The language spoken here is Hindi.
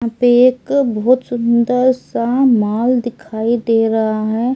यहां पे एक बहुत सुंदर सा मॉल दिखाई दे रहा है।